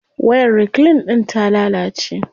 Wayar reclean din ta lalace.